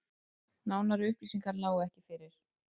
Nánari upplýsingar lágu ekki fyrir